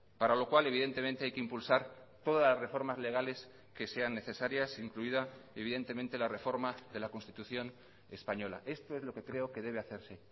para lo cual evidentemente hay que impulsar todas las reformas legales que sean necesarias incluida evidentemente la reforma de la constitución española esto es lo que creo que debe hacerse